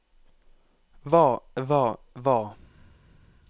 hva hva hva